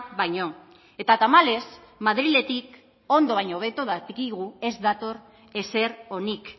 baino eta tamalez madriletik ondo baino hobeto dakigu ez dator ezer onik